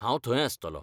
हांव थंय आस्तलों.